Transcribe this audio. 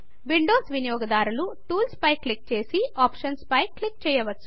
Windows వినియోగదారులు tools పై click చేసి ఆప్షన్స్ పైన క్లిక్ చేయవచ్చు